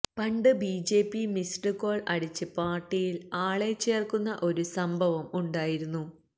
പണ്ട് BJP missed call അടിച്ച് പാർട്ടിയിൽ ആളെ ചേർക്കുന്ന ഒരു സംഭവം ഉണ്ടായിരുന്നു